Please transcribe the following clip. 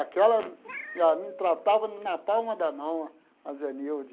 Aquela me tratava na palma da mão, a Zenilde.